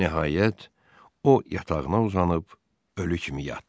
Nəhayət, o yatağına uzanıb ölü kimi yatdı.